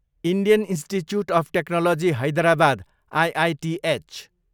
Indian Institute of Technology Hyderabad, IITH